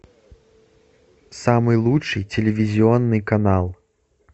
самый лучший телевизионный канал